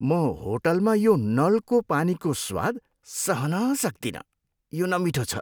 म होटलमा यो नलको पानीको स्वाद सहन सक्दिनँ, यो नमिठो छ।